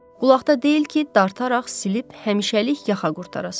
Qulaqda deyil ki, dartaraq silib həmişəlik yaxa qurtarasan.